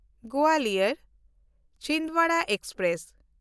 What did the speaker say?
ᱜᱳᱣᱟᱞᱤᱭᱚᱨ–ᱪᱷᱤᱱᱫᱣᱟᱲᱟ express